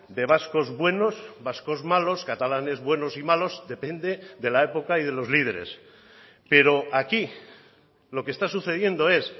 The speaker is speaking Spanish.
de vascos buenos vascos malos catalanes buenos y malos depende de la época y de los líderes pero aquí lo que está sucediendo es